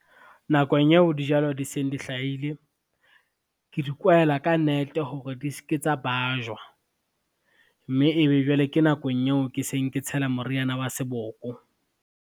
Nakong eo dijalo di seng di hlaile, ke di kwaela ka nete hore di ske tsa bajwa, mme e be jwale ke nakong yeo ke seng ke tshela moriana wa seboko.